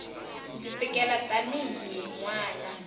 ndzi tikela tanihi n wana